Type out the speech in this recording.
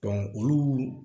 olu